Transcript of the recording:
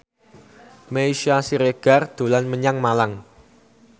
Meisya Siregar dolan menyang Malang